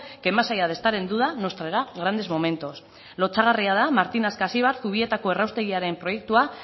que más allá de estar en duda nos traerá grandes momentos lotsagarria da martin ascacibar zubietako erraustegiaren proiektua